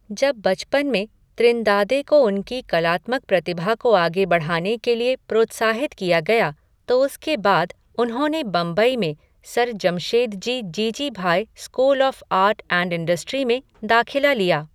जब बचपन में त्रिनदादे को उनकी कलात्मक प्रतिभा को आगे बढ़ाने के लिए प्रोत्साहित किया गया तो उसके बाद, उन्होंने बंबई में sir Jamshedji Jeejeebhoy school of art and industry में दाखिला लिया।